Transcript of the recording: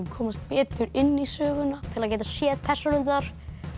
komast betur inn í söguna til að geta séð persónurnar